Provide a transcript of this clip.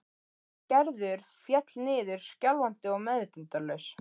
Gerður féll niður skjálfandi og meðvitundarlaus.